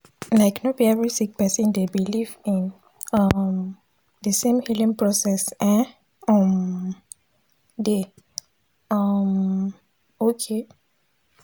like no bi every sik person dey biliv in um di sem healing process e um dey um okay